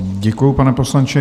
Děkuji, pane poslanče.